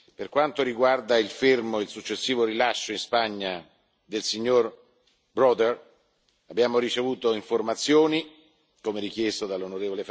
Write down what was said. Per quanto riguarda il fermo e il successivo rilascio in Spagna di Bill Browder, abbiamo ricevuto informazioni, come richiesto dall'on.